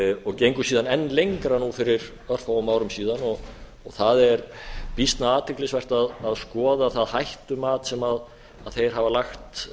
og gengu síðan enn lengra nú fyrir örfáum árum síðan og það er býsna athyglisvert að skoða það hættumat sem þeir hafa lagt